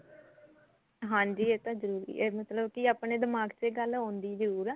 ਹਾਂਜੀ ਇਹ ਤਾਂ ਜਰੂਰੀ ਐ ਇਹ ਮਤਲਬ ਆਪਣੇ ਦਿਮਾਗ ਤੇ ਗੱਲ ਆਉਂਦੀ ਜਰੂਰ ਐ